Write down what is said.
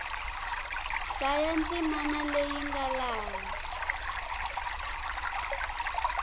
hlaya ndzimana leyi nga laha